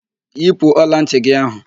Yipu ọlantị gị áhụ̀!